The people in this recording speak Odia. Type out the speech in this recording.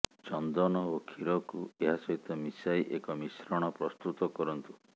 ଚନ୍ଦନ ଓ କ୍ଷୀରକୁ ଏହା ସହିତ ମିଶାଇ ଏକ ମିଶ୍ରଣ ପ୍ରସ୍ତୁତ କରନ୍ତୁ